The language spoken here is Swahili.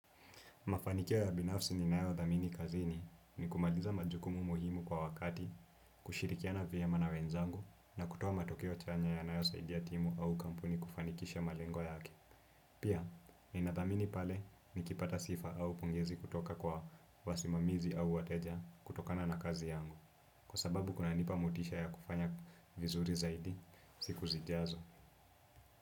Mafanikia ya binafsi ninayo dhamini kazini ni kumaliza majukumu muhimu kwa wakati, kushirikiana vyema na wenzangu na kutoa matokeo chanya yanayo saidia timu au kampuni kufanikisha malengo yake. Pia, nina dhamini pale nikipata sifa au pongezi kutoka kwa wasimamizi au wateja kutokana na kazi yangu, kwa sababu kunanipa motisha ya kufanya vizuri zaidi siku zijazo.